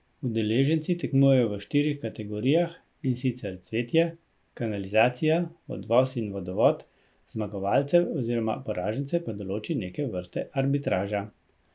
Udeleženci tekmujejo v štirih kategorijah, in sicer cvetje, kanalizacija, odvoz in vodovod, zmagovalce oziroma poražence pa določi neke vrste arbitraža.